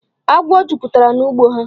Agwọ jupụtara n'ugbo ha.